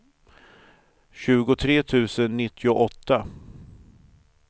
tjugotre tusen nittioåtta